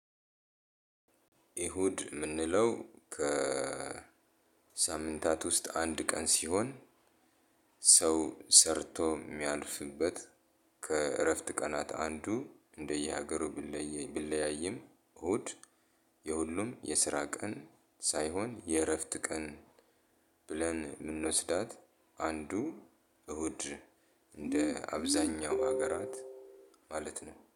እሁድ የምንለው ከ ሳምንታት ውስጥ አንድ ቀን ሲሆን ሰው ሰርቶ የሚያልፍበት ከእረፍት ቀናት አንዱ እንደየሀገሩ ብለይ ቢለያይም እሁድ የሁሉም የስራ ቀን ሳይሆን የእረፍት ቀን ብለን የምንወስዳት አንዱ እሁድ እንደ አብዛኛው ሀገራት ማለት ነው